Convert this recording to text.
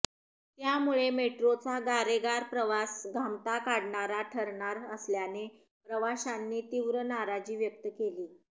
त्यामुळे मेट्रोचा गारेगार प्रवास घामटा काढणारा ठरणार असल्याने प्रवाशांनी तीव्र नाराजी व्यक्त केली